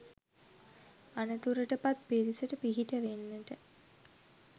අනතුරටපත් පිරිසට පිහිට වෙන්නට